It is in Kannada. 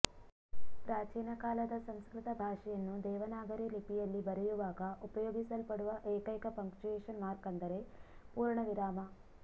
ಪ್ರಾಚೀನಕಾಲದ ಸಂಸ್ಕೃತ ಭಾಷೆಯನ್ನು ದೇವನಾಗರಿ ಲಿಪಿಯಲ್ಲಿ ಬರೆಯುವಾಗ ಉಪಯೋಗಿಸಲ್ಪಡುವ ಏಕೈಕ ಪಂಕ್ಚುವೇಶನ್ ಮಾರ್ಕ್ ಅಂದರೆ ಪೂರ್ಣವಿರಾಮ